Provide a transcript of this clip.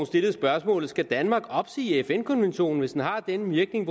stillet spørgsmålet skal danmark opsige fn konventionen hvis den har den virkning